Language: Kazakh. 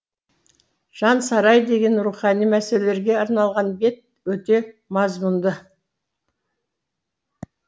жансарай деген рухани мәселелерге арналған бет өте мазмұнды